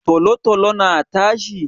Tolo-tolo na tashi?